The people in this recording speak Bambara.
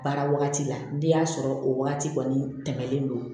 Baara wagati la n'i y'a sɔrɔ o wagati kɔni tɛmɛlen don